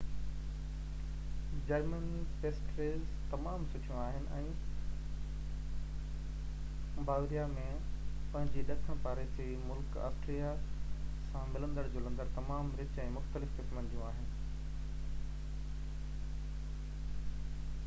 German pastries تمام سُٺيون آهن ۽ باواريا ۾ پنهنجي ڏکڻ پاڙيسري ملڪ آسٽريا سان ملندڙ جلندڙ تمام رچ ۽ مختلف قسمن جون آهن